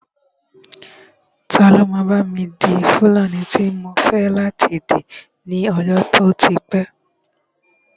Ta ló máa bá mi di fúlàní tí mò ń fẹ́ láti dì ní ọjọ́ tó ti pẹ́